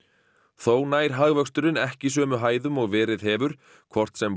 þó nær hagvöxturinn ekki sömu hæðum og verið hefur hvort sem